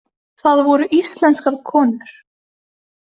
Það voru íslenskar konur.